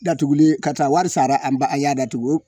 Datugulen karisa wari sara an ba an y'a datugu